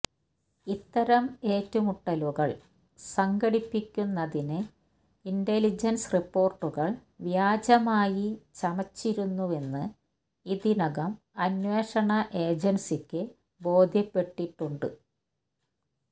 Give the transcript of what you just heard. ഇത്തരം ഏറ്റുമുട്ടലുകള് സംഘടിപ്പിക്കുന്നതിന് ഇന്റലിജന്സ് റിപോര്ട്ടുകള് വ്യാജമായി ചമച്ചിരുന്നുവെന്ന് ഇതിനകം അന്വേഷണ ഏജന്സിക്ക് ബോധ്യപ്പെട്ടിട്ടുമുണ്ട്